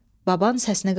Baban səsini qaldırdı.